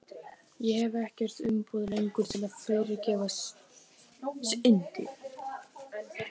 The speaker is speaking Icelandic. Ég hef ekkert umboð lengur til að fyrirgefa syndir.